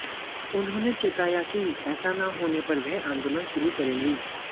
उन्होंने चेताया कि ऐसा न होने पर वह आंदोलन शुरू करेंगी